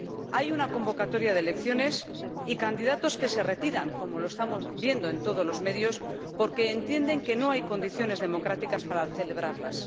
Hay una convocatoria de elecciones y candidatos que se retiran, como estamos viendo en todos los medios, porque entienden que no hay condiciones democráticas para celebrarlas.